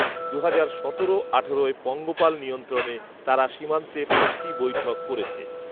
দুহাজার সতেরো আঠারোয় পঙ্গপাল নিয়ন্ত্রণে তারা সীমান্তে পাঁচটি বৈঠক করেছে